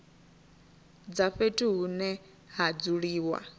dza fhethu hune ha dzuliwa